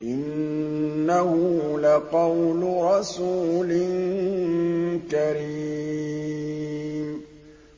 إِنَّهُ لَقَوْلُ رَسُولٍ كَرِيمٍ